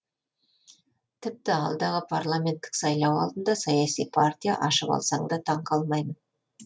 тіпті алдағы парламенттік сайлау алдында саяси партия ашып алса да таң қалмаймын